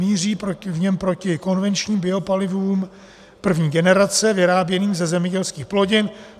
Míří v něm proti konvenčním biopalivům první generace vyráběným ze zemědělských plodin.